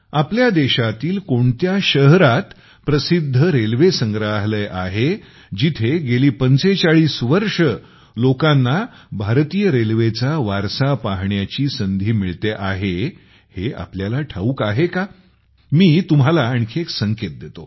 आपल्या देशातील कोणत्या शहरात प्रसिद्ध रेल्वे संग्रहालय आहे जिथे गेली ४५ वर्षे लोकांना भारतीय रेल्वेचा वारसा पाहण्याची संधी मिळते आहे हे तुम्हाला ठाऊक आहे कामी तुम्हाला आणखी एक संकेत देतो